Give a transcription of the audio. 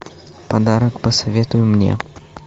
подарок посоветуй мне